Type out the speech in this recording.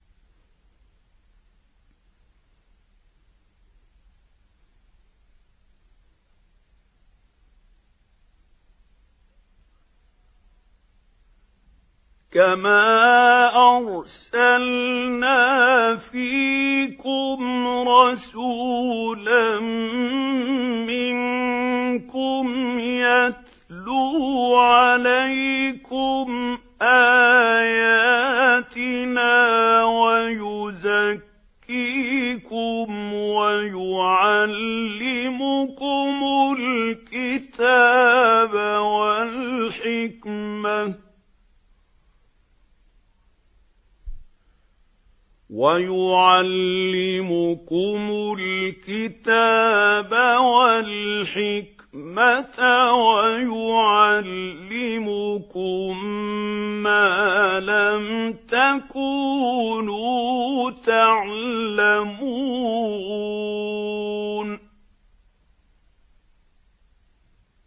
كَمَا أَرْسَلْنَا فِيكُمْ رَسُولًا مِّنكُمْ يَتْلُو عَلَيْكُمْ آيَاتِنَا وَيُزَكِّيكُمْ وَيُعَلِّمُكُمُ الْكِتَابَ وَالْحِكْمَةَ وَيُعَلِّمُكُم مَّا لَمْ تَكُونُوا تَعْلَمُونَ